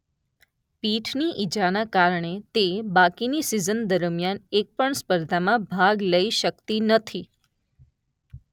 પીઠની ઈજાને કારણે તે બાકીની સિઝન દરમ્યાન એક પણ સ્પર્ધામાં ભાગ લઈ શકતી નથી.